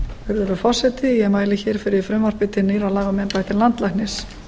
virðulegur forseti ég mæli hér fyrir frumvarpi til nýrra laga um embætti landlæknis